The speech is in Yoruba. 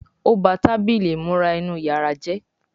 O bá Tábìlì ìmúra inú yàrá jé